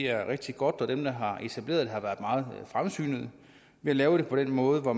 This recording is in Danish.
er rigtig godt og at dem der har etableret det har været meget fremsynede ved at lave det på den måde hvor